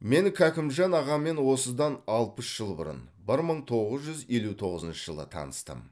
мен кәкімжан ағамен осыдан алпыс жыл бұрын бір мың тоғыз жүз елу тоғызыншы жылы таныстым